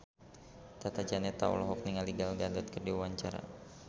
Tata Janeta olohok ningali Gal Gadot keur diwawancara